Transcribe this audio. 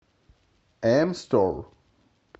эм стор